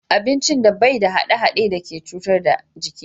Abincin da bai da hade-hade da ke cutar da jiki